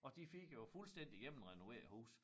Og de fik jo fuldstændig gennemrenoveret æ hus